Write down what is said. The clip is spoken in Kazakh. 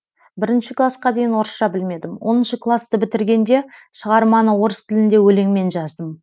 бірінші класқа дейін орысша білмедім оныншы класты бітіргенде шығарманы орыс тілінде өлеңмен жаздым